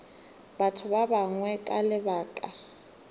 batho ba bangwe ka lebaka